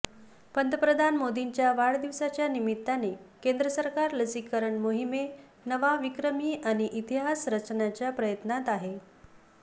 पंतप्रधान मोदींच्या वाढदिवसाच्या निमित्ताने केंद्र सरकार लसीकरण मोहीमे नवा विक्रमी आणि इतिहास रचण्याच्या प्रयत्नात आहे